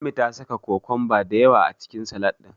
Ummi ta saka kokomba da yawa a cikin Salad ɗin.